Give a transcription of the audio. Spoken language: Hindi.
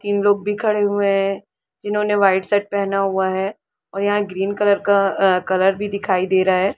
तीन लोग भी खड़े हुए है जिन्होंने वाइट शर्ट पहना हुआ है और यहाँ ग्रीन कलर का अहः कलर भी दिखाई दे रहा हैं।